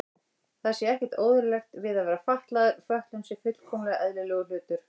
Það sé ekkert óeðlilegt við að vera fatlaður, fötlun sé fullkomlega eðlilegur hlutur.